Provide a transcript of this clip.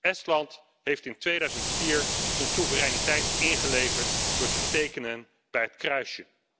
Estland heeft in 2004 zijn soevereiniteit ingeleverd door te tekenen bij het kruisje.